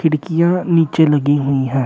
डिकिया नीचे लगी हुई हैं।